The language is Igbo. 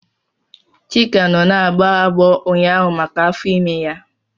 Chika nọ na-agbọ agbọọ ụnyaahụ maka afọ ime ya.